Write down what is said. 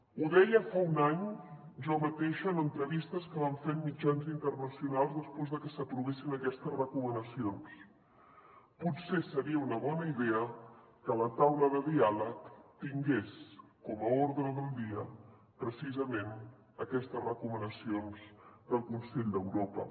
ho deia fa un any jo mateixa en entrevistes que vam fer en mitjans internacionals després de que s’aprovessin aquestes recomanacions potser seria una bona idea que la taula de diàleg tingués com a ordre del dia precisament aquestes recomanacions del consell d’europa